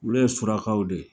Olu ye Surakaw de ye.